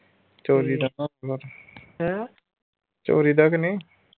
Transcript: ਚੋਰੀ ਦਾ ਤੇ ਨਹੀਂ?